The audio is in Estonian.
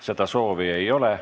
Seda soovi ei ole.